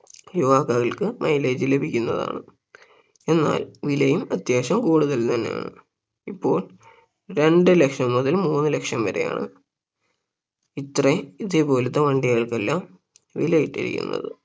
യുവാക്കൾക്ക് mileage ലഭിക്കുന്നതാണ് എന്നാൽ വിലയും അത്യാവശ്യം കൂടുതൽ തന്നെയാണ് ഇപ്പോൾ രണ്ട് ലക്ഷം മുതൽ മൂന്ന് ലക്ഷം വരെയാണ് ഇത്രയും ഇതുപോലത്തെ വണ്ടികൾക്കെല്ലാം വില ഇട്ടിരിക്കുന്നത്